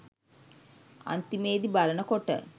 අන්තිමෙදි බලනකොට